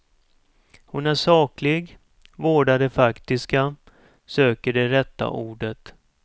Hon är saklig, vårdar det faktiska, söker det rätta ordet.